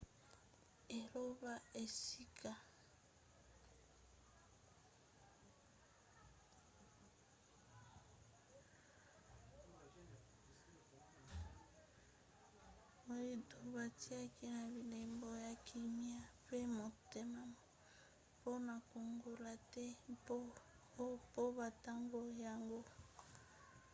elembo ebebaki mpenza te; mbongwana esalemaki na nzela ya biloko ya moindo oyo bitiaki na bilembo ya kimia pe motema mpona kongola the o po batanga yango e